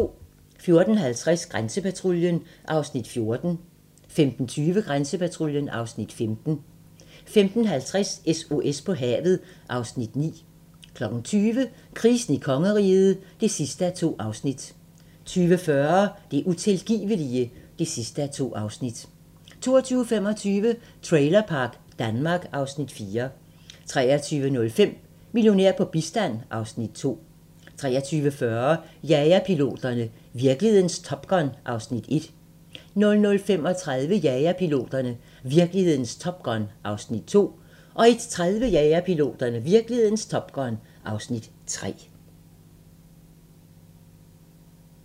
14:50: Grænsepatruljen (Afs. 14) 15:20: Grænsepatruljen (Afs. 15) 15:50: SOS på havet (Afs. 9) 20:00: Krisen i kongeriget (2:2) 20:40: Det utilgivelige (2:2) 22:25: Trailerpark Danmark (Afs. 4) 23:05: Millionær på bistand (Afs. 2) 23:40: Jagerpiloterne - virkelighedens Top Gun (Afs. 1) 00:35: Jagerpiloterne - virkelighedens Top Gun (Afs. 2) 01:30: Jagerpiloterne - virkelighedens Top Gun (Afs. 3)